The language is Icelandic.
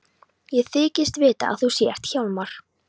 Ég þykist vita að þú sért Hjálmar.